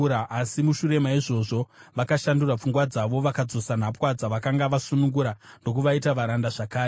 Asi mushure maizvozvo vakashandura pfungwa dzavo, vakadzosa nhapwa dzavakanga vasunungura ndokuvaita varanda zvakare.